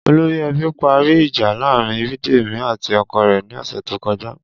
Olórí e̩bí parí ìjà láàárín Bídèmí àti o̩ko̩ rè̩ ní ò̩sè̩ tó ko̩já